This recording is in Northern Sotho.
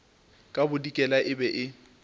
ka bodikela e be e